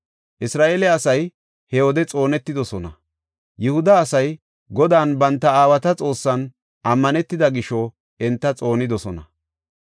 Isra7eele asay he wode xoonetidosona; Yihuda asay Godan banta aawata Xoossan ammanetida gisho enta xoonidosona.